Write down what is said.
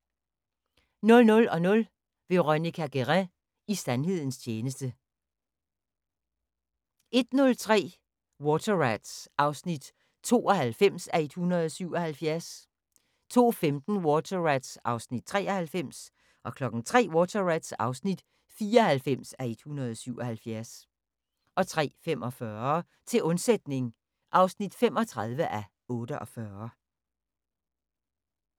00:00: Veronica Guerin – i sandhedens tjeneste 01:30: Water Rats (92:177) 02:15: Water Rats (93:177) 03:00: Water Rats (94:177) 03:45: Til undsætning (35:48)